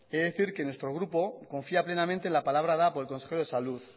he de decir que nuestro grupo confía plenamente en la palabra dada por el consejero de salud